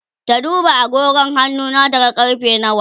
ta duba agogon hannuna ta ga karfe nawa